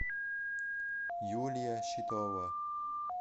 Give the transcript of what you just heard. юлия щитова